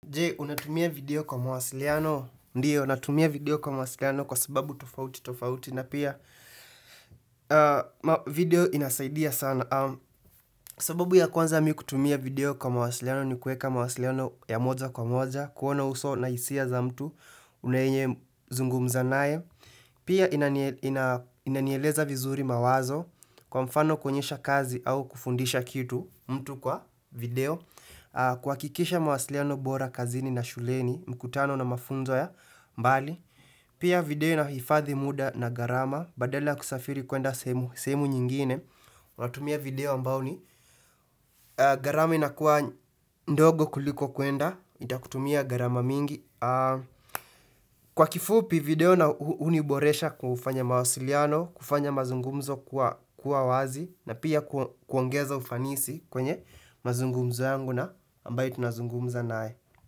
Je, unatumia video kwa mawasiliano, ndio, natumia video kwa mawasiliano kwa sababu tofauti tofauti na pia video inasaidia sana. Sababu ya kwanza mi kutumia video kwa mawasiliano ni kueka mawasiliano ya moja kwa moja, kuona uso na hisia za mtu, unaye nye zungumza naye. Pia inanieleza vizuri mawazo kwa mfano kuonyesha kazi au kufundisha kitu mtu kwa video kuhakikisha mawasiliano bora kazini na shuleni mkutano na mafunzo ya mbali Pia video inahifadhi muda na gharama badala kusafiri kuenda sehemu nyingine unatumia video ambao ni gharama inakuwa ndogo kuliko kuenda itakutumia gharama mingi Kwa kifupi video na huniboresha kufanya mawasiliano, kufanya mazungumzo kuwa wazi na pia kuongeza ufanisi kwenye mazungumzo yangu na ambayo tunazungumza naye.